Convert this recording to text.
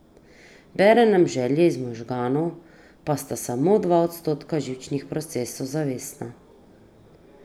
Bere nam želje iz možganov, pa sta samo dva odstotka živčnih procesov zavestna.